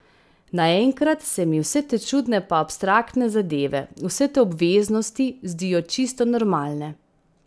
Naenkrat se mi vse te čudne pa abstraktne zadeve, vse te obveznosti, zdijo čisto normalne.